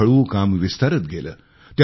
हळुहळू काम विस्तारत गेले